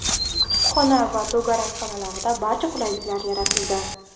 Kutubxona va to‘garak xonalarida barcha qulaylik yaratildi.